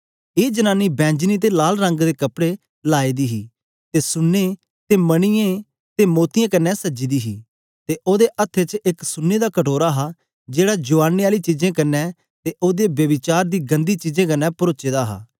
ए जनानी बैंजनी ते लाल रंग दे कपड़े लाए दी हे ते सुने ते मणियैं ते मोतियें कन्ने सजी दी हे ते ओदे हत्थे च एक सुने दा कटोरा हा जेड़ा उजाड़ने आली चीजें कन्ने ते ओदे ब्यभिचार दी गंदी चीजें कन्ने परोचे दा हा